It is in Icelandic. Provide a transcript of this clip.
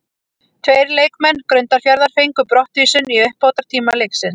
Tveir leikmenn Grundarfjarðar fengu brottvísun í uppbótartíma leiksins.